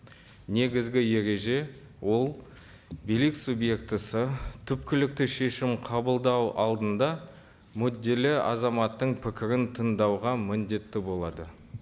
негізгі ереже ол билік субъектісі түпкілікті шешім қабылдау алдында мүдделі азаматтың пікірін тыңдауға міндетті болады